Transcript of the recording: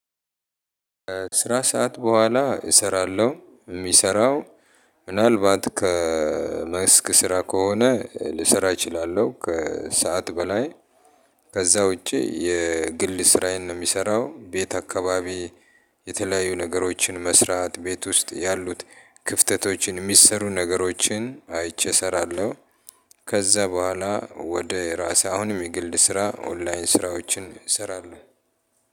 ስራ ሰዓት በኋላ እሰራለሁ የሚሰራው ምናልባት ከመስክ ስራ ከሆነ ልሰራ እችላለሁ ከሰአት በላይ። ከዛ ውጪ የግል ስራዬን ነው የምሰራው ቤት አካባቢ የተለያዩ ነገሮችን መስራት ቤት ውስጥ ያሉት ክፍተቶችን የሚሰሩ ነገሮችን አይቼ እሰራለሁ። ከዛ በኋላ ወደ ራሴ አሁን የግል ስራ ኦንላይን ስራዎችን እሰራለሁ።